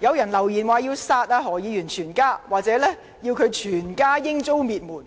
有人留言，說要殺何議員全家，或要他全家遭滅門；